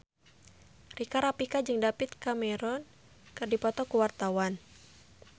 Rika Rafika jeung David Cameron keur dipoto ku wartawan